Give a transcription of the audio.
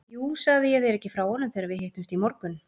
Jú, sagði ég þér ekki frá honum þegar við hittumst í morgun?